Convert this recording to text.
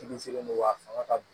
Fini sirilen don a fanga ka bon